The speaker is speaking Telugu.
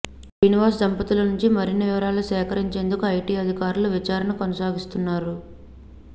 శ్రీనివాస్ దంపతుల నుంచి మరిన్ని వివరాలు సేకరించేందుకు ఐటీ అధికారులు విచారణ కొనసాగిస్తున్నారు